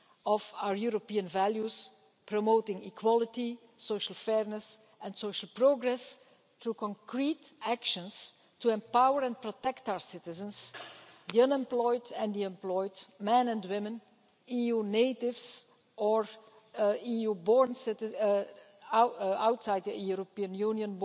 of our European values, promoting equality, social fairness and social progress through concrete actions to empower and protect our citizens the unemployed and the employed, men and women, EU natives or citizens born outside the European Union